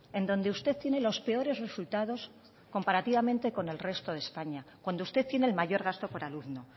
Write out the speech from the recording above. en donde usted tiene los peores resultados comparativamente con el resto de españa cuando usted tiene el mayor gasto por alumno